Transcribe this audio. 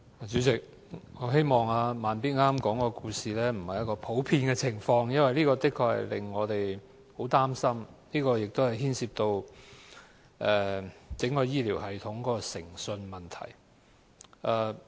主席，我希望"慢咇"剛剛說的故事不是一個普遍的情況，否則的確令我們很擔心，因為這牽涉到整個醫療系統的誠信問題。